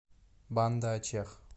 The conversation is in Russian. банда ачех